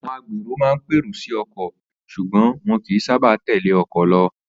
Àwo̩n agbèrò máa ń pèrò sí o̩kò̩ s̩ùgbó̩n wo̩n kìí sábà tèlé o̩kò̩ lo̩